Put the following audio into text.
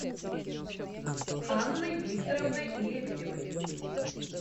анной викторовной лебедевой